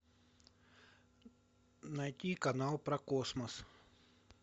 найти канал про космос